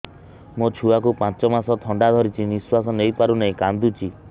ମୋ ଛୁଆକୁ ପାଞ୍ଚ ମାସ ଥଣ୍ଡା ଧରିଛି ନିଶ୍ୱାସ ନେଇ ପାରୁ ନାହିଁ କାଂଦୁଛି